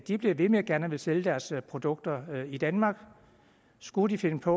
de bliver ved med gerne at ville sælge deres produkter i danmark skulle de finde på